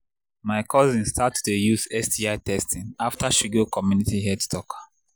my cousin start to they use sti testing after she go community health talk